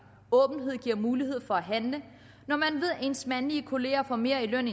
åbenhed giver mulighed for at handle når man ved at ens mandlige kollegaer får mere i løn